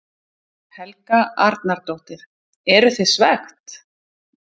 Helga Arnardóttir: Eru þið svekkt?